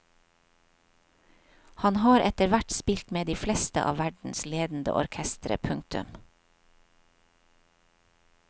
Han har etterhvert spilt med de fleste av verdens ledende orkestre. punktum